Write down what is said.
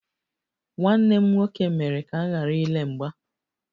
Nwanne m nwoke mere ka m ghara ile mgba